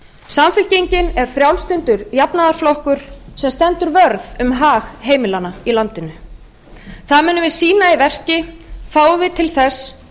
samfylkingin er frjálslyndur jafnaðarflokkur sem stendur vörð um hag heimilanna í landinu það munum við sýna í verki fáum til þess